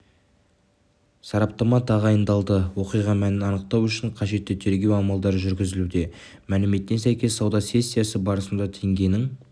сараптама тағайындалды оқиға мәнін анықтау үшін қажетті тергеу амалдары жүргізілуде мәліметіне сәйкес сауда сессиясы барысында теңгенің